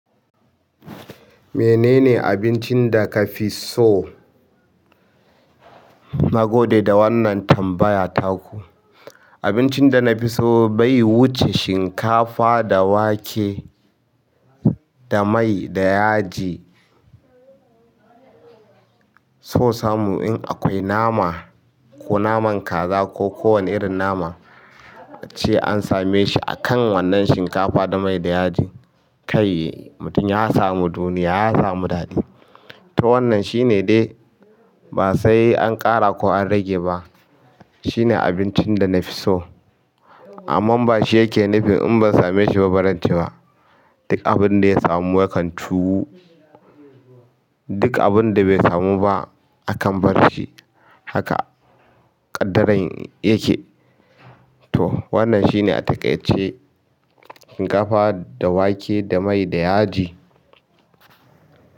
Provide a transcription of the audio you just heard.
Menene abincin da ka fi so? Na gode da wannan tambaya taku. Abincin da na fi so bai wuce shinkafa da wake da mai da yaji. So samu in akwai nama, ko naman kaza ko kowane irin nama an same shi a kan wannan shinkafa da mai da yaji, kai mutum ya samu duniya, ya samu daɗi. To wannan shine dai ba sai an ƙara ko an rage ba. Shine abincin da na fi so. Amma ba shi yake nufi in ban same shi ba barance ba. Duk abin da ya samu yakan cuwu. Duk abinda bai samu ba akan bar shi haka ƙaddaran yake. To wannan shine a takaice shinkafa da wake da mai da yaji.